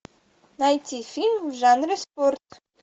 найти фильм в жанре спорт